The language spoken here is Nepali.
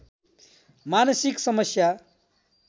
मानसिक समस्या